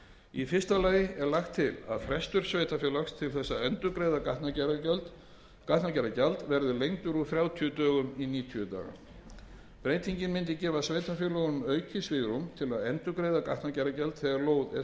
í fyrsta lagi er lagt til að frestur sveitarfélags til þess að endurgreiða gatnagerðargjald verði lengdur úr þrjátíu dögum í níutíu daga breytingin mundi gefa sveitarfélögum aukið svigrúm til að endurgreiða gatnagerðargjald þegar lóð er